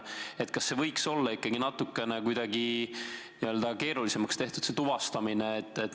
Kas see tuvastamine ei võiks olla ikkagi natuke kuidagi keerulisemaks tehtud?